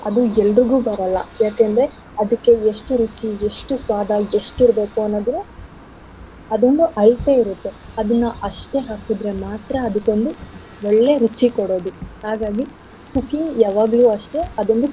ಅದು ಎಲ್ರಿಗೂ ಬರಲ್ಲ ಯಾಕಂದ್ರೆ ಅದಕ್ಕೆ ಎಷ್ಟು ರುಚಿ, ಎಷ್ಟು ಸ್ವಾದ ಎಷ್ಟಿರ್ಬೇಕು ಅನ್ನೋದೆಲ್ಲ ಅದೊಂದ್ ಅಳತೆ ಇರತ್ತೆ ಅದನ್ನ ಅಷ್ಟೇ ಹಾಕಿದ್ರೆ ಮಾತ್ರ ಅದಕ್ಕೊಂದು ಒಳ್ಳೆ ರುಚಿ ಕೊಡೋದು ಹಾಗಾಗಿ cooking ಯಾವಾಗ್ಲು ಅಷ್ಟೇ ಅದೊಂದು.